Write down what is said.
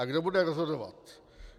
A kdo bude rozhodovat?